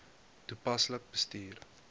toepaslik bestuur